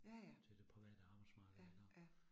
Ja ja. Ja, ja